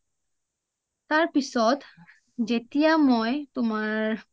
তাৰপিছত যেতিয়া মই তোমাৰ